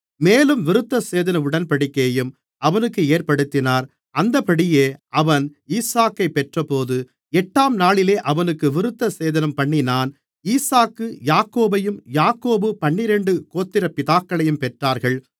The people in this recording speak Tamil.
மேலும் விருத்தசேதன உடன்படிக்கையையும் அவனுக்கு ஏற்படுத்தினார் அந்தப்படியே அவன் ஈசாக்கைப் பெற்றபோது எட்டாம் நாளிலே அவனுக்கு விருத்தசேதனம்பண்ணினான் ஈசாக்கு யாக்கோபையும் யாக்கோபு பன்னிரண்டு கோத்திரப்பிதாக்களையும் பெற்றார்கள்